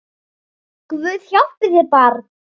Guð hjálpi þér barn!